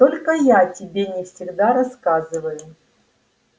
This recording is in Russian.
только я тебе не всегда рассказываю